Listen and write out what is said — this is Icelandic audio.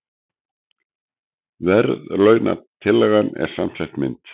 Verðlaunatillagan er samsett mynd